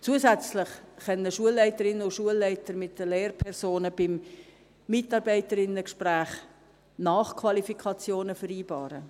Zusätzlich können Schulleiterinnen und Schulleiter mit den Lehrpersonen beim Mitarbeiterinnengespräch Nachqualifikationen vereinbaren.